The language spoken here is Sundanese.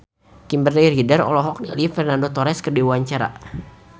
Kimberly Ryder olohok ningali Fernando Torres keur diwawancara